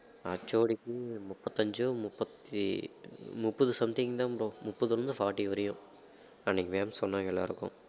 HOD க்கு முப்பத்தஞ்சோ முப்பத்தி~ முப்பது something தான் bro முப்பதுல இருந்து forty வரையும் அன்னைக்கு ma'am சொன்னாங்க எல்லாருக்கும்